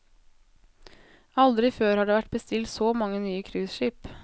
Aldri før har det vært bestilt så mange nye cruiseskip.